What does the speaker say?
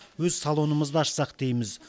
өз салонымызды ашсақ дейміз